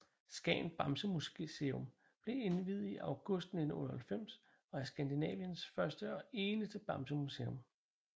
Skagen Bamsemuseum blev indviet i august 1998 og er Skandinaviens første og eneste bamsemuseum